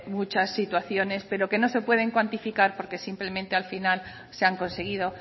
muchas situaciones pero que no se pueden cuantificar porque simplemente al final se han conseguido